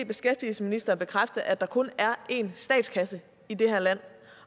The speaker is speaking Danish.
beskæftigelsesministeren bekræfte at der kun er én statskasse i det her land